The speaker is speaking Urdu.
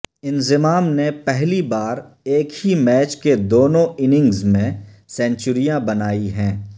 انضمام نے پہلی بار ایک ہی میچ کے دونوں اننگز میں سنچریاں بنائی ہیں